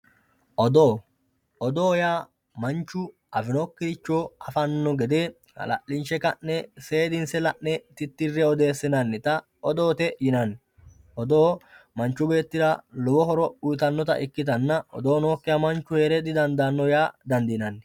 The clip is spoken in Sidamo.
oddo. odoo yaa manchu afinokkiricho afanno gede hala'linshe ka'ne seedinse la'ne tittirre odeessinannita odoote yinanni odoo manchu beettira lowo horo uyiitannota ikkitanna odoo nookkiha manchu heere didandaanno yaa dandiinanni.